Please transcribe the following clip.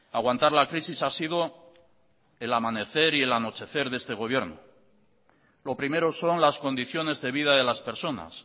aguantar la crisis ha sido el amanecer y el anochecer de este gobierno lo primero son las condiciones de vida de las personas